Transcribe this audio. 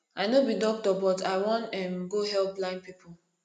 um i no be doctor but i wan um go help blind people